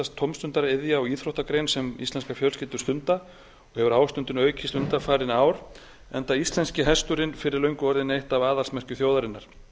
tómstundaiðja og íþróttagrein sem íslenskar fjölskyldur stunda og hefur ástundun aukist undanfarin ár enda íslenski hesturinn fyrir löngu orðinn eitt af aðalsmerkjum þjóðarinnar